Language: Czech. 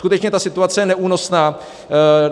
Skutečně ta situace je neúnosná.